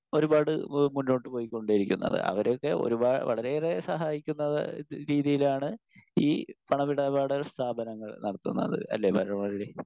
Speaker 1 ഒരുപാട് ഏഹ് മുന്നോട്ടുപോയികൊണ്ടേയിരിക്കുന്നത്. അവരൊക്കെ ഒരുപാ വളരെയേറെ സഹായിക്കുന്ന രീതിയിലാണ് ഈ പണമിടപാട് സ്ഥാപനങ്ങൾ നടത്തുന്നത് അല്ലേ ബാലമുരളി?